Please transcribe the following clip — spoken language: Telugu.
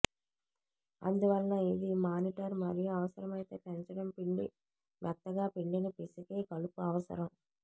అందువలన ఇది మానిటర్ మరియు అవసరమైతే పెంచడం పిండి మెత్తగా పిండిని పిసికి కలుపు అవసరం